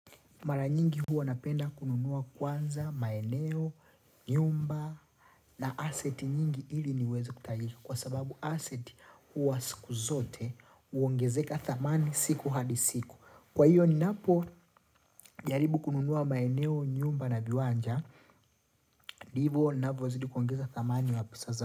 Mara nyingi huwa napenda kununua kwanza, maeneo, nyumba na asset nyingi ili niweze kutali. Kwa sababu asset huwa siku zote uongezeka thamani siku hadi siku. Kwa hiyo ni napo jaribu kununua maeneo, nyumba na viwanja. Ndivyo ninvyozidi kuongeza thamani ya pesa zangu.